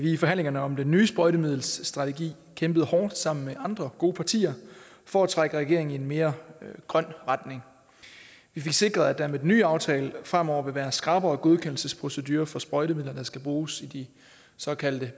i forhandlingerne om den nye sprøjtemiddelstrategi kæmpet hårdt sammen med andre gode partier for at trække regeringen i en mere grøn retning vi fik sikret at der med den nye aftale fremover vil være skrappere godkendelsesprocedurer for sprøjtemidler der skal bruges i de såkaldte